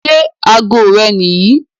Ṣẹ́ àágọ̀ rè́ níyìí?